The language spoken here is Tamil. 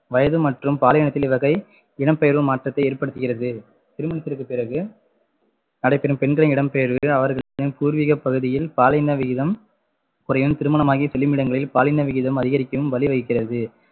வயது மற்றும் பாலினத்தின் வகை இடம்பெயர்வில் மாற்றத்தை ஏற்படுத்துகிறது திருமணத்திற்கு பிறகு நடைபெறும் பெண்களின் இடம்பெயர்வு அவர்களின் பூர்வீக பகுதியில் பாலின விகிதம் திருமணமாகி செல்லும் இடங்களில் பாலின விகிதம் அதிகரிக்கவும் வழிவகுக்கிறது